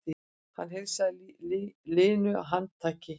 Hann heilsaði linu handtaki.